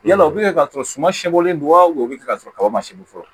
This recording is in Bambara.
Yala o bɛ kɛ k'a sɔrɔ suma sibɔlen don wa o bɛ kɛ ka sɔrɔ kaba se bi fɔlɔ